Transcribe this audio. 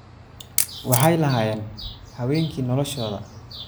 "Waxay lahaayeen habeenkii noloshooda."